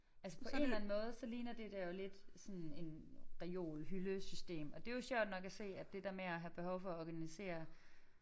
Altså på en eller anden måde så ligner det der jo lidt sådan en reol hyldesystem og det jo sjovt nok at se at det der med at have behov for at organisere